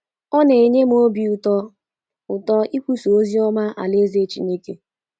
Ọ na - enye m obi ụtọ ụtọ ikwusa ozi ọma alaeze Chineke